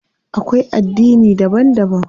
Akwai addini daban daban.